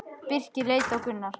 Birkir leit á Gunnar.